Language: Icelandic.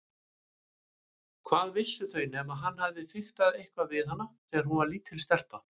Hvað vissu þau nema hann hefði fiktað eitthvað við hana þegar hún var lítil stelpa.